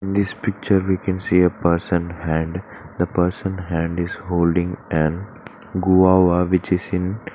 In this picture we can see a person hand the person hand is holding an guava which is in --